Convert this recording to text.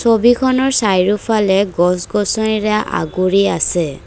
ছবিখনৰ চাৰিওফালে গছ গছনিৰে আগুৰি আছে।